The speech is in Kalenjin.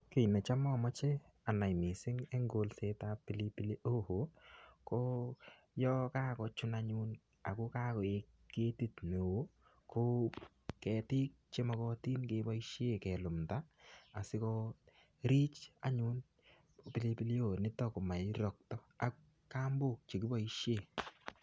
Kii necham amoche anai mising en kolsetab pilipili hoho ko yoon kakochun anyun ak ko kakoik ketit neo ko ketik chemokotin kelumnda asikorich anyun pilipili hoho nitok komororokto ak kambok chekiboishen.